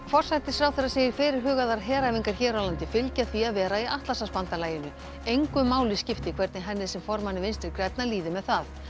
forsætisráðherra segir fyrirhugaðar heræfingar hér á landi fylgja því að vera í Atlantshafsbandalaginu engu máli skipti hvernig henni sem formanni Vinstri grænna líði með það